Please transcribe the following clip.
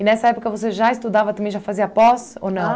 E nessa época você já estudava também, já fazia pós ou não?